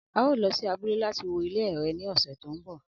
ao lo si abule lati wo ile ẹrẹ ni ọsẹ to nbọ